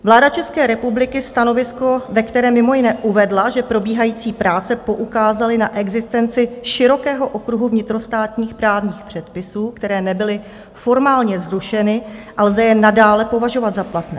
Vláda České republiky stanovisko, ve které mimo jiné uvedla, že probíhající práce poukázaly na existenci širokého okruhu vnitrostátních právních předpisů, které nebyly formálně zrušeny a lze je nadále považovat za platné.